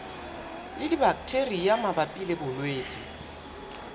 le dibaktheria mabapi le bolwetse